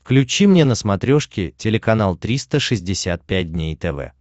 включи мне на смотрешке телеканал триста шестьдесят пять дней тв